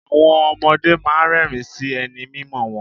Àwọn ọmọdé máa ń rẹ́ẹ̀rín sí ẹni mímọ̀ wọn.